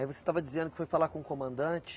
Aí você estava dizendo que foi falar com o comandante?